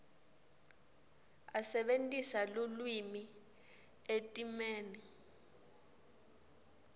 asebentisa lulwimi etimeni